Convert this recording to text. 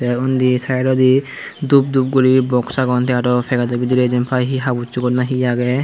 tey undi saidwdi dupdup guri box agon tey aro pagetto bidrey jempai hi habussugor nahi agey.